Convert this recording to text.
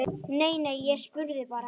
Nei, nei, ég spurði bara